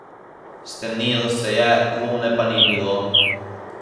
Stemnilo se je, lune pa ni bilo.